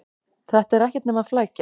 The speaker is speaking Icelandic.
Þetta er ekkert nema flækja.